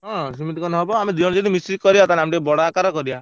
ହଁ ସେମିତି କନେ ହବ ଆମେ ଦି ଜଣ ଯଦି ମିସିକି କରିଆ ତାହେନେ ଆମେ ଟିକେ ବଡ ଆକାରରେ କରିଆ।